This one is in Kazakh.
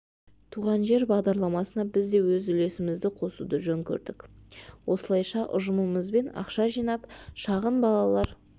туған жер бағдарламасына біз де өз үлесімізді қосуды жөн көрдік осылайша ұжымымызбен ақша жинап шағын балалар